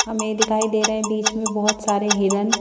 हमें दिखाई दे रहे हैं बीच में बहुत सारे हिरन--